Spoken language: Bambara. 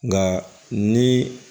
Nka ni